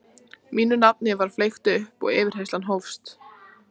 Mínu nafni var flett upp og yfirheyrslan hófst.